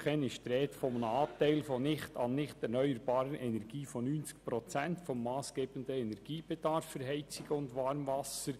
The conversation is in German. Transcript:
In den MuKEn ist die Rede von einem Anteil an nicht erneuerbaren Energien in der Höhe von 90 Prozent des massgebenden Energiebedarfs von Heizung und Warmwasser.